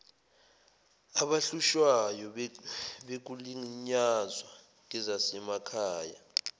abahlushwayo bekulinyazwa ngezasemakhay